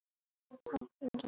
Þar féll Magnús.